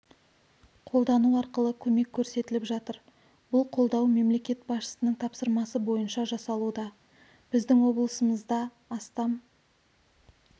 қолдану арқылы көмек көрсетіліп жатыр бұл қолдау мемлекет басшысының тапсырмасы бойынша жасалуда біздің облысымызда астам